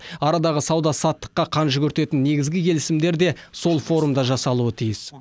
арадағы сауда саттыққа қан жүгіртетін негізгі келісімдер де сол форумда жасалуы тиіс